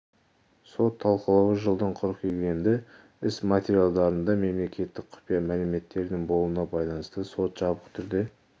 сот талқылауы жылдың қыркүйегіне белгіленді іс материалдарында мемлекеттік құпия мәліметтердің болуына байланысты сот жабық түрде